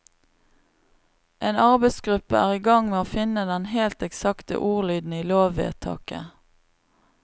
En arbeidsgruppe er i gang med å finne den helt eksakte ordlyden i lovvedtaket.